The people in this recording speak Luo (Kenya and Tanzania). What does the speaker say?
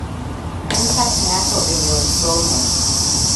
en pach ng'ato e yor somo